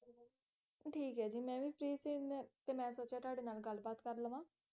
ਠੀਕ ਹੈ ਜੀ ਤੇ ਮੈਂ ਵੀ free ਸੀ ਮੈਂ ਸੋਚਿਆ ਤੁਹਾਡੇ ਨਾਲ ਗੱਲ ਬਾਤ ਕਰ ਲਵਾਂ